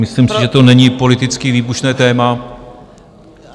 Myslím si, že to není politicky výbušné téma.